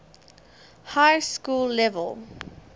high school level